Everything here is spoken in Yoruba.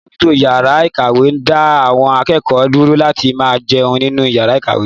Alábòójútó ìyàrá-ìkàwé da awon akẹ́kọ̀ọ́ dúró láti máa jẹun nínú ìyàrá-ìkàwé.